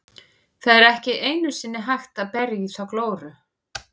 Það er ekki einu sinni hægt að berja í þá glóru.